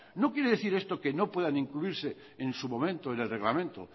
no quiere decir esto que no puedan incluirse en su momento en el reglamento